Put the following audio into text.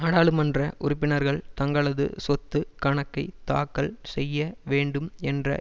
நாடாளுமன்ற உறுப்பினர்கள் தங்களது சொத்து கணக்கை தாக்கல் செய்ய வேண்டும் என்ற